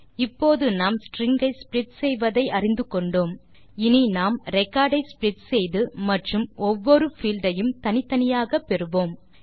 இப்போது நாம் ஸ்ட்ரிங் ஐ ஸ்ப்ளிட் செய்வதை அறிந்து கொண்டோம் இனி நாம் ரெக்கார்ட் ஐ ஸ்ப்ளிட் செய்து மற்றும் ஒவ்வொரு பீல்ட் ஐயும் தனித்தனியாக பெறுவோம்